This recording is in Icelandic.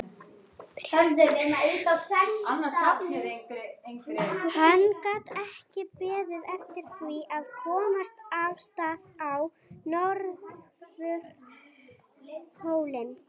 Hann gat ekki beðið eftir því að komast af stað á Norðupólinn.